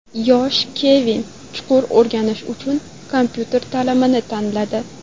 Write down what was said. Yosh Kevin chuqur o‘rganish uchun kompyuter ta’limini tanladi.